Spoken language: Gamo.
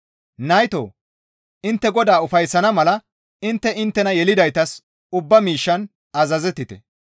Naytoo! Intte Godaa ufayssana mala intte inttena yelidaytas ubba miishshan azazettite.